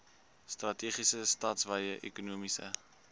strategiese stadswye ekonomiese